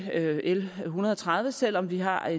l en hundrede og tredive selv om vi har